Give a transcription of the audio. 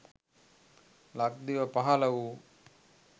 ලක්දිව පහළ වූ